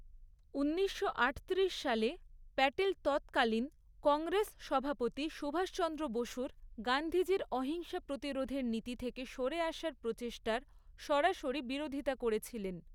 ঊনিশশো আটত্রিশ সালে প্যাটেল তৎকালীন কংগ্রেস সভাপতি সুভাষচন্দ্র বসুর গান্ধীজির অহিংস প্রতিরোধের নীতি থেকে সরে আসার প্রচেষ্টার সরাসরি বিরোধিতা করেছিলেন।